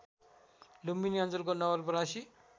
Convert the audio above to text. लुम्बिनी अञ्चलको नवलपरासी